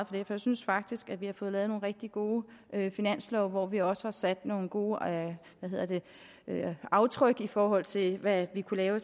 for jeg synes faktisk vi har fået lavet nogle rigtig gode finanslove hvor vi også har sat nogle gode aftryk i forhold til hvad vi kunne lave